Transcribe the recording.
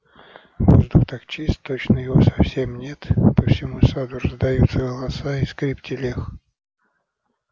воздух так чист точно его совсем нет по всему саду раздаются голоса и скрип телег